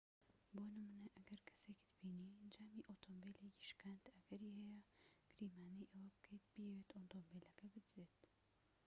بۆ نمونە ئەگەر کەسێكت بینی جامی ئۆتۆمبیلێکی شکاند ئەگەری هەیە گریمانەی ئەوە بکەیت بیەوێت ئۆتۆمبیلەکە بدزێت